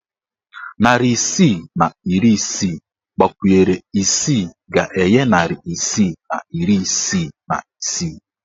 Narị isii na iri isii gbakwunyere isii ga-enye narị isii na iri isii na isii.